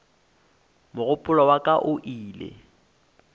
mogopolo wa ka o ile